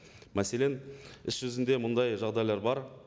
мәселен іс жүзінде мұндай жағдайлар бар